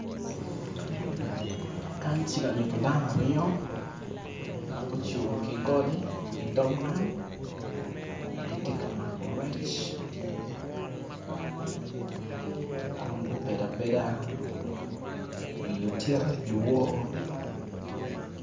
Kany ci kanyutto dano aryo ma gucung ki goli i dog nam giti ka mako kon gubedo abeda i otyeno di wor